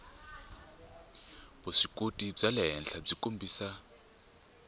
vuswikoti bya le henhlabyi kombisa